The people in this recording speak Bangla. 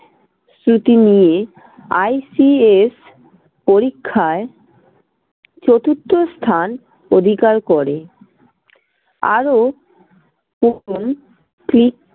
শ্রুতি নিয়ে ICS পরীক্ষায় চতুর্থ স্থান অধিকার করে। আরও